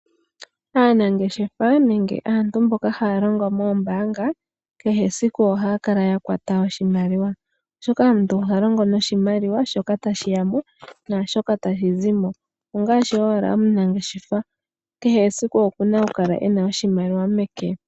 Aanangeshefa nenge aantu mboka haya longo moombaanaga kehe esiku ohaya kala ya kwata oshimaliwa, oshoka omuntu oha longo noshimaliwa shoka tashiyamo naashoka tashi zimo, ongaashi owala omunageshefa, kehe esiku okuna okukala ena oshimaliwa meke.